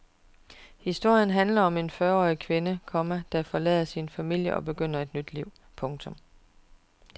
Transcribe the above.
Historien handler om en fyrre årig kvinde, komma der forlader sin familie og begynder et nyt liv. punktum